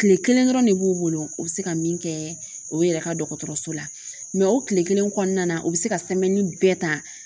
Tile kelen dɔrɔn de b'u bolo u bɛ se ka min kɛ o yɛrɛ ka dɔgɔtɔrɔso la mɛ o tile kelen kɔnɔna na u bɛ se ka bɛɛ ta